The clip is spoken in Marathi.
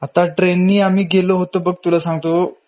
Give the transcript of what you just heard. आता ट्रेननी आम्ही गेलो होतो बघ तुला सांगतो